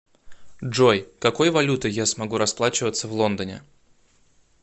джой какой валютой я смогу расплачиваться в лондоне